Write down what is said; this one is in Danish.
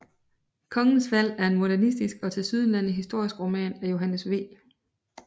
Kongens Fald er en modernistisk og tilsyneladende historisk roman af Johannes V